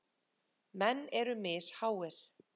Menn eru misháir.